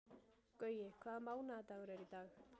Gaui, hvaða mánaðardagur er í dag?